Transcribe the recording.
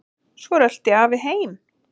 Svo rölti afi heim.